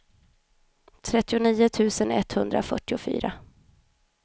trettionio tusen etthundrafyrtiofyra